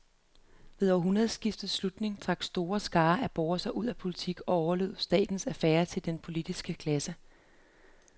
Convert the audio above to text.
Ved århundredets slutning trak store skarer af borgere sig ud af politik og overlod statens affærer til den politiske klasse.